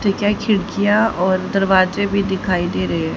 ठीक है खिड़कियां और दरवाजे भी दिखाई दे रहे--